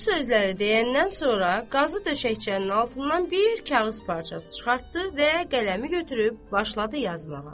Bu sözləri deyəndən sonra, qazı döşəkçənin altından bir kağız parçası çıxartdı və qələmi götürüb başladı yazmağa.